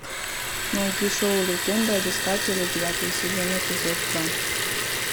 найди шоу легенда об искателе девятый сезон эпизод два